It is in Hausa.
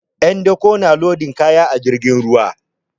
'Yan dako na lodin kaya a jirgin ruwa.